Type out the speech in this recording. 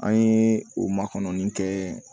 An ye o makɔnin kɛ